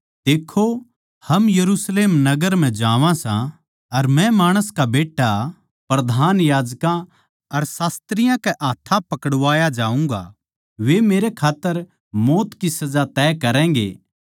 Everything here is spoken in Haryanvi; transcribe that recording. देक्खो हम यरुशलेम नगर म्ह जावां सा अर मै माणस का बेट्टा प्रधान याजकां अर शास्त्रियाँ कै हाथ्थां पकड़वाया जाऊँगा वे मेरे खात्तर मौत की सजा तय करैगें